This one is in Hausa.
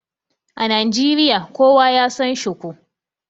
A Najeriya, kowa ya San shuku.